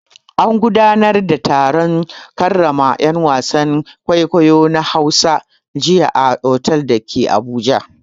An gudanar da taron karrama 'yan wasan kwaikwayo na Hausa jiya a otal da ke Abuja.